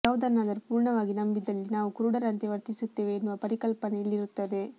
ಯಾವುದನ್ನಾದರೂ ಪೂರ್ಣವಾಗಿ ನಂಬಿದಲ್ಲಿ ನಾವು ಕುರುಡರಂತೆ ವರ್ತಿಸುತ್ತೇವೆ ಎನ್ನುವ ಪರಿಕಲ್ಪನೆ ಇಲ್ಲಿರುತ್ತದೆ